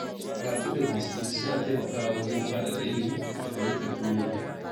Karatu da bincike suna taimakawa wajen faɗaɗa ilimi da fahimtar duniya.